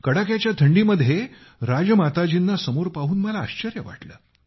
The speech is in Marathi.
कडाक्याच्या थंडीमध्ये राजमाताजींना समोर पाहून मला आश्चर्य वाटले